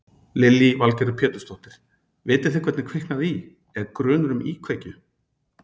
Lillý Valgerður Pétursdóttir: Vitið þið hvernig kviknaði í, er grunur um íkveikju?